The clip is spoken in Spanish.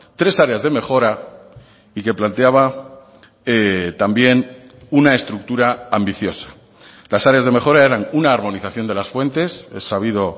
tres áreas de mejora y que planteaba también una estructura ambiciosa las áreas de mejora eran una armonización de las fuentes es sabido